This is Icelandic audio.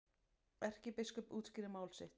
Erkibiskup útskýrir mál sitt